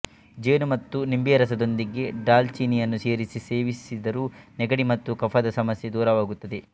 ಜೇನು ಮತ್ತು ನಿಂಬೆರಸದೊಂದಿಗೆ ದಾಲ್ಚಿನಿಯನ್ನು ಸೇರಿಸಿ ಸೇವಿಸಿದರೂ ನೆಗಡಿ ಮತ್ತು ಕಫದ ಸಮಸ್ಯೆ ದೂರವಾಗುತ್ತದೆ